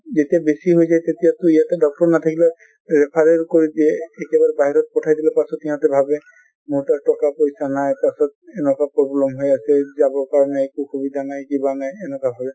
যেতিয়া বেছি হৈ যায় তেতিয়াটো ইয়াতে doctor নাথাকিলেও referral কৰি দিয়ে একেবাৰে বাহিৰত পঠাই দিলে তাৰ পিছত সিহঁতে ভাবে মোৰ তাত টকা পইছা নাই পাছত এনেকুৱা problem হৈ আছে যাবৰ কাৰণে একো সুবিধা নাই কিবা নাই এনেকুৱা হয়,